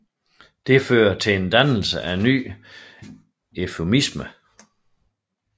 Det fører til dannelsen af en ny eufemisme